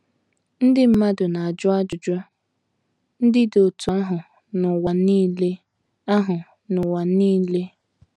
Ndị mmadụ na - ajụ ajụjụ ndị dị otú ahụ n’ụwa nile ahụ n’ụwa nile.